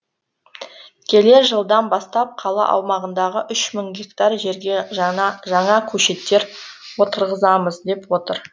келер жылдан бастап қала аумағындағы үш мың гектар жерге жаңа жаңа көшеттер отырғызамыз деп отыр